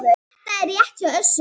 Þetta er rétt hjá Össuri.